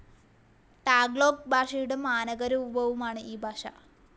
Tagalog ഭാഷയുടെ മനകരൂപവുമാണ് ഈ ഭാഷ.